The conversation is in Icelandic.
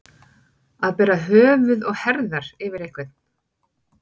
Að bera höfuð og herðar yfir einhvern